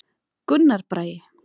Gunnar Bragi.